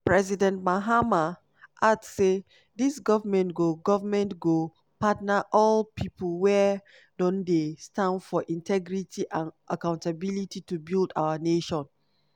president mahama add say "dis goment go goment go partner all pipo wia don dey stand for integrity and accountability to build our nation."